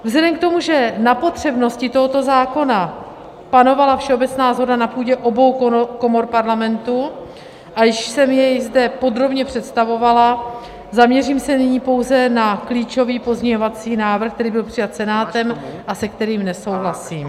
Vzhledem k tomu, že na potřebnosti tohoto zákona panovala všeobecná shoda na půdě obou komor Parlamentu a již jsem jej zde podrobně představovala, zaměřím se nyní pouze na klíčový pozměňovací návrh, který byl přijat Senátem a se kterým nesouhlasím.